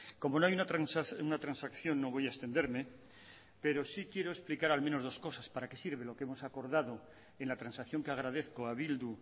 como no hay una transacción no voy a extenderme pero sí quiero explicar al menos dos cosas para qué sirve lo que hemos acordado en la transacción que agradezco a bildu